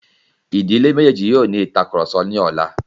Ìdílé méjèjì yóò ní ìtàkurọ̀sọ ní ọlá.